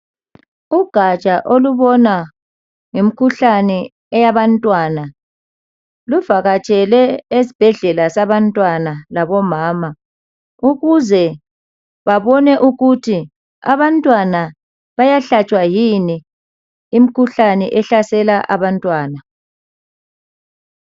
Ugatsha olubona ngemkhuhlane bantwana luvakatshele abantwana labomama ukuze babone ukuthi abantwana bayahlatshwa yini imikhuhlane ehlasela abantwana